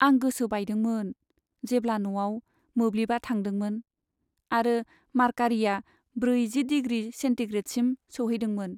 आं गोसो बायदोंमोन जेब्ला न'आव मोब्लिबा थांदोंमोन आरो मार्कारिया ब्रैजि डिग्रि सेन्टिग्रेडसिम सौहैदोंमोन।